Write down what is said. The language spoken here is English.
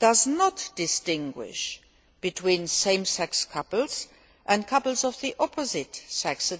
does not distinguish between same sex couples and couples of the opposite sex.